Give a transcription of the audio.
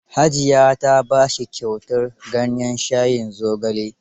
Hajiya ta ba shi kyautar ganyen shayin zogale.